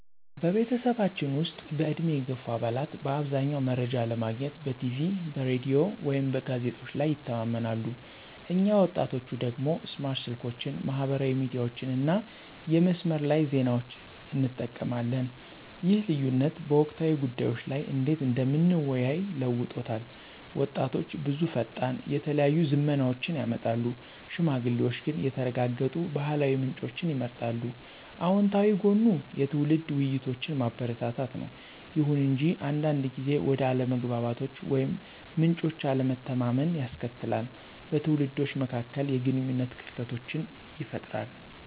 በቤተሰባችን ውስጥ፣ በዕድሜ የገፉ አባላት በአብዛኛው መረጃ ለማግኘት በቲቪ፣ በራዲዮ ወይም በጋዜጦች ላይ ይተማመናሉ፣ እኛ ወጣቶቹ ደግሞ ስማርት ስልኮችን፣ ማህበራዊ ሚዲያዎችን እና የመስመር ላይ ዜናዎችን እንጠቀማለን። ይህ ልዩነት በወቅታዊ ጉዳዮች ላይ እንዴት እንደምንወያይ ለውጦታል— ወጣቶች ብዙ ፈጣን፣ የተለያዩ ዝመናዎችን ያመጣሉ፣ ሽማግሌዎች ግን የተረጋገጡ ባህላዊ ምንጮችን ይመርጣሉ። አወንታዊ ጎኑ የትውልድ ውይይቶችን ማበረታታት ነው። ይሁን እንጂ አንዳንድ ጊዜ ወደ አለመግባባቶች ወይም ምንጮች አለመተማመንን ያስከትላል, በትውልዶች መካከል የግንኙነት ክፍተቶችን ይፈጥራል.